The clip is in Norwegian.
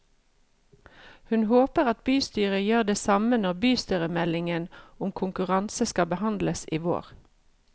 Hun håper at bystyret gjør det samme når bystyremeldingen om konkurranse skal behandles i vår.